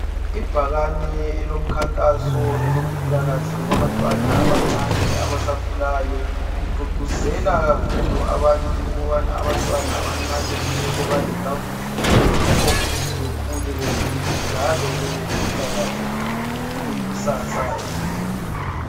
Ibhakane elomkhankaso elokuphilakahle kwabantwana abancane abasakhulayo ligqugquzela kakhulu abantu ukubana abantwana abancane kumele badle kakuhle yikho ukuthi bekhule beqinile njalo bebelempilakahle befike ikusasa elihle.